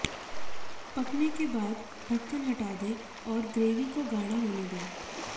पकने के बाद ढक्कन हटा दें आैर ग्रेवी को गाढ़ा होने दें